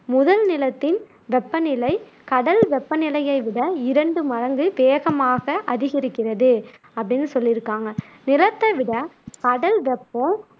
முதல் நிலத்தின் வெப்பநிலை கடல் வெப்பநிலையை விட இரண்டு மடங்கு வேகமாக அதிகரிக்கிறது அப்படின்னு சொல்லியிருக்காங்க நிலத்தைவிட கடல் வெப்பம்